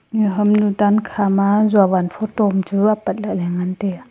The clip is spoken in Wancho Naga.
iya hamnu tankha ma jovan photo am chu apat lah le ngan tai a.